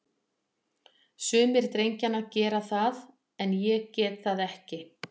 Sumir drengjanna gera það, en ég get það ekki.